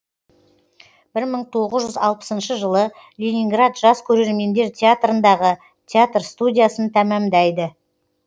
бір мың тоғыз жүз алпысыншы жылы ленинград жас көрермендер театрындағы театр студиясын тәмамдайды